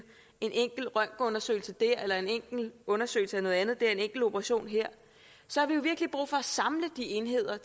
en enkelt røntgenundersøgelse eller en enkelt undersøgelse af noget andet en enkelt operation dér så har vi jo virkelig brug for at samle de enheder